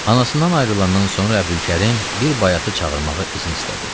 Anasından ayrılandan sonra Əbdülkərim bir bayatı çağırmağa izin istədi.